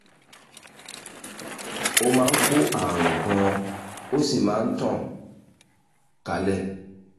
ó máa ń kó àrùn gan-an ó sì máa ń tàn kálẹ̀